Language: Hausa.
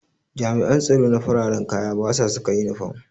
Jami'an tsaro na fararan kaya basa saka inifam